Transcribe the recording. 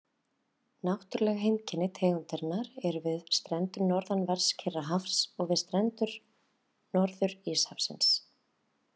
Náttúrleg heimkynni tegundarinnar eru við strendur norðanverðs Kyrrahafs og við strendur Norður-Íshafsins.